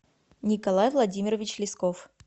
николай владимирович лесков